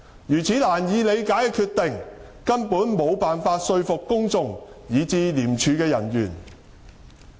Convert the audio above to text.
如此難以理解的決定，根本無法說服公眾，以至廉署的人員。